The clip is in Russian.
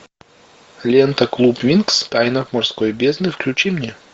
лента клуб винкс тайна морской бездны включи мне